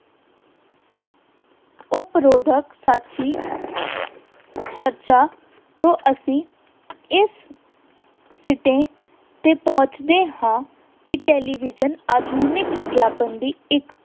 ਉਪਰੋਕਤ ਸੱਚ ਦੀ ਚਰਚਾ ਤੋਂ ਅਸੀਂ ਇਸ ਸਿੱਟੇ ਤੇ ਪਹੁੰਚਦੇ ਹਾਂ ਕਿ television ਆਧੁਨਿਕ ਵਿਗਿਆਪਨ ਦੀ ਇੱਕ